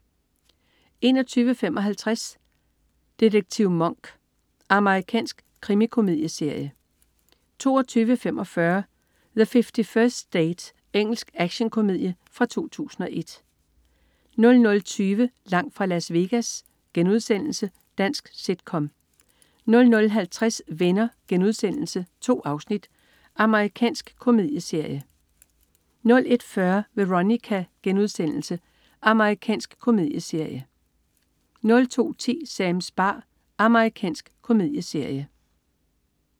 21.55 Detektiv Monk. Amerikansk krimikomedieserie 22.45 The 51st State. Engelsk actionkomedie fra 2001 00.20 Langt fra Las Vegas.* Dansk sit-com 00.50 Venner.* 2 afsnit. Amerikansk komedieserie 01.40 Veronica.* Amerikansk komedieserie * 02.10 Sams bar. Amerikansk komedieserie